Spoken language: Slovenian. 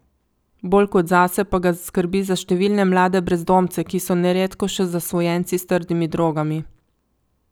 Bolj kot zase pa ga skrbi za številne mlade brezdomce, ki so neredko še zasvojenci s trdimi drogami.